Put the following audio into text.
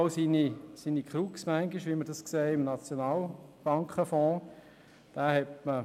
Es hat aber einen Haken, wie wir beim SNB-Fonds sehen.